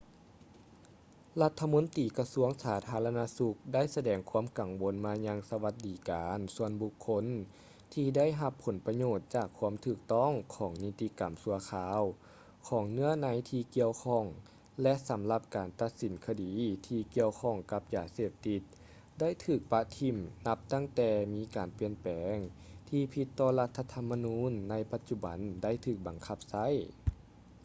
ລັດຖະມົນຕີກະຊວງສາທາລະນະສຸກໄດ້ສະແດງຄວາມກັງວົນມາຍັງສະຫວັດດີການສ່ວນບຸກຄົນທີ່ໄດ້ຮັບຜົນປະໂຫຍດຈາກຄວາມຖືກຕ້ອງຂອງນິຕິກຳຊົ່ວຄາວຂອງເນື້ອໃນທີ່ກ່ຽວຂ້ອງ ແລະ ສຳລັບການຕັດສິນຄະດີທີ່ກ່ຽວຂ້ອງກັບຢາເສບຕິດໄດ້ຖືກປະຖິ້ມນັບຕັ້ງແຕ່ມີການປ່ຽນແປງທີ່ຜິດຕໍ່ລັດຖະທໍາມະນູນໃນປັດຈຸບັນໄດ້ຖືກບັງຄັບໃຊ້